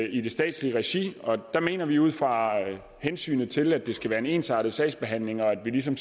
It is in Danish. i det statslige regi og der mener vi ud fra hensynet til at det skal være en ensartet sagsbehandling og at vi ligesom